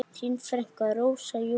Þín frænka, Rósa Júlía.